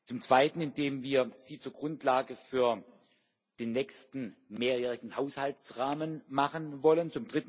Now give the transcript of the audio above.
Zum Zweiten, indem wir sie zur Grundlage für den nächsten mehrjährigen Haushaltsrahmen machen wollen.